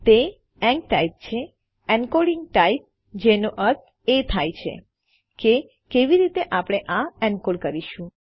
તે એન્કટાઇપ છે encoding type જેનો અર્થ એ થાય છે કે કેવી રીતે આપણે આ એનકોડ કરીશું